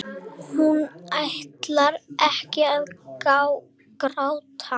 Hún ætlar ekki að gráta.